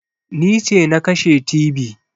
Ni ce na kashe tibi